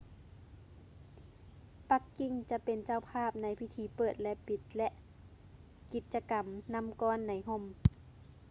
ປັກກິ່ງຈະເປັນເຈົ້າພາບໃນພິທີເປີດ ແລະ ປິດ ແລະ ກິດຈະກຳນໍ້າກ້ອນໃນຮົ່ມ